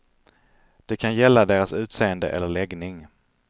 Det kan gälla deras utseende eller läggning.